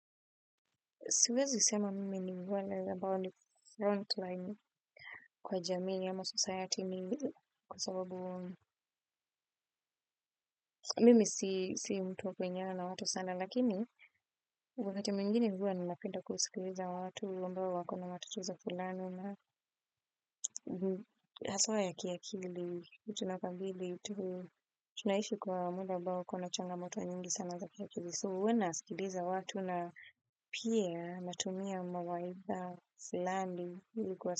Siwezi sema mimi ni wale anbao ni front line kwa jamii ama society mingi kwa sababu mimi si mtu wa kuingiana na watu sana lakini wakati mwingine huwa ninapenda kusikiliza watu ambao wako na matatizo fulani na haswa ya kiakili, tuna kambili, tunaishi kwa muda ambao uko na changamoto nyingi sana za kiakili. So huwa nasikiliza watu na pia natumia mawaidha fllani ili kuwasaidia.